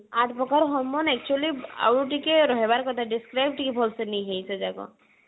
hormone actually ଆଉ ଟିକେ ରହିବାର କଥା describe ଟିକେ ଭଲସେ ନେଇଯାଇଛେ ଯାକ